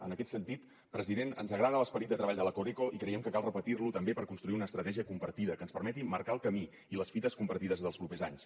en aquest sentit president ens agrada l’esperit de treball de la coreco i creiem que cal repetir lo també per construir una estratègia compartida que ens permeti marcar el camí i les fites compartides dels propers anys